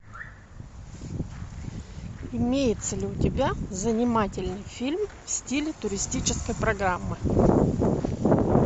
имеется ли у тебя занимательный фильм в стиле туристической программы